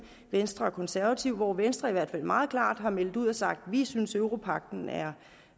venstre og konservative hvoraf venstre i hvert fald meget klart har meldt ud og sagt at de synes at europagten er